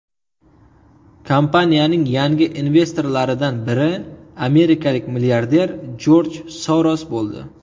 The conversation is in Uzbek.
Kompaniyaning yangi investorlaridan biri amerikalik milliarder Jorj Soros bo‘ldi.